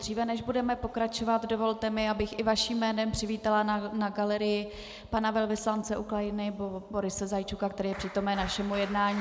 Dříve než budeme pokračovat, dovolte mi, abych i vaším jménem přivítala na galerii pana velvyslance Ukrajiny Boryse Zajčuka, který je přítomen našemu jednání.